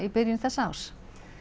byrjun þessa árs